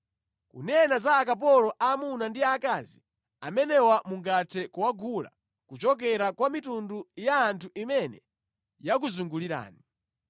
“ ‘Kunena za akapolo aamuna ndi aakazi, amenewa mungathe kuwagula kuchokera kwa mitundu ya anthu imene yakuzungulirani.